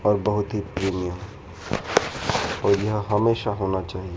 और बहुत ही प्रीमियम और यह हमेशा होना चाहिए।